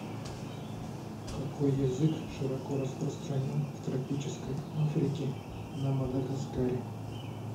какой язык широко распространен в тропической африки на мадагаскаре